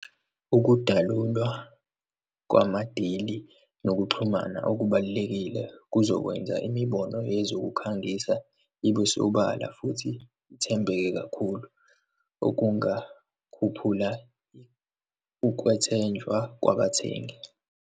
Ukudalulwa kwama-deal-i nokuxhumana okubalulekile kuzokwenza imibono yezokukhangisa ibe sobala futhi ithembeke kakhulu, okungakhuphula ukwethenjwa kwabathengi.